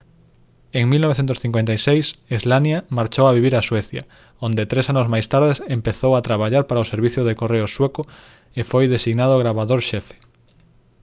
en 1956 słania marchou vivir a suecia onde tres anos máis tarde empezou a traballar para o servizo de correos sueco e foi designado gravador xefe